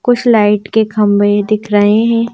कुछ लाइट के खंबे दिख रहे हैं।